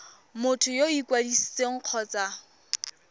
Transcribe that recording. motho yo o ikwadisitseng kgotsa